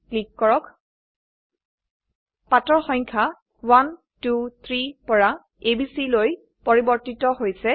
click কৰক অক পাতৰ সংখ্যা 1 2 3 পৰা a b c লৈ পৰিবৰ্তিত হৈছে